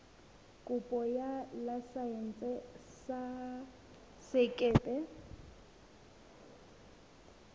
kopo ya laesense ya sekepe